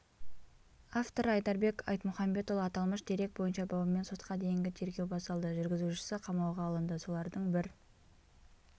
авторы айдарбек айтмұхамбетұлы аталмыш дерек бойынша бабымен сотқа дейінгі тергеу басталды жүргізушісі қамауға алынды солардың бір